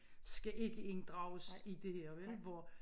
Skal ikke inddrages i det her vel hvor